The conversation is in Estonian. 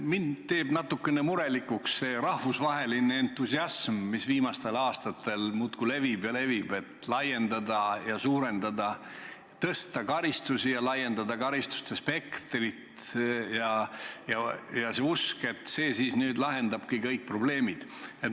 Mind teeb natukene murelikuks see rahvusvaheline entusiasm, mis viimastel aastastel muudkui levib ja levib, et suurendada karistusi ja laiendada karistuste spektrit, ning usk, et see lahendabki kõik probleemid.